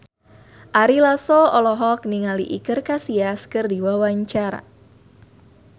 Ari Lasso olohok ningali Iker Casillas keur diwawancara